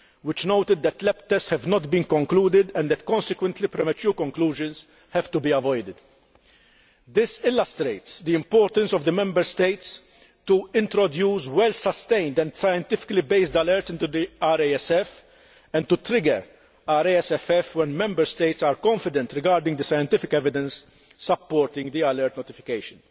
it noted that laboratory tests have not been concluded and that consequently, premature conclusions have to be avoided. This illustrates that it is important for the Member States to introduce well sustained and scientifically based alerts into the RASFF and to trigger the RASFF when Member States are confident regarding the scientific evidence supporting the alert notification.